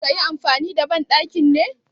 Ka na so ka yi amfani da banɗakin ne?